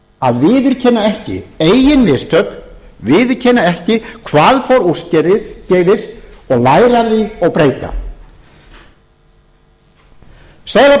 að viðurkenna ekki eigin mistök viðurkenna ekki hvað fór úrskeiðis og læra af því og breyta